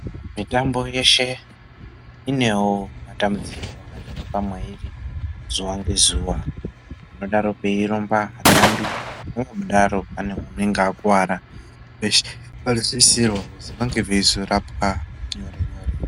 Mitambo yeshe inewo matambudziko anowanikwa mwairi zuva ngezuva. Panodaro peirumba vatambi, panodaro pane unonga akuvara, veshe vanosisirwa kuti vange veizorapwa nyore nyore.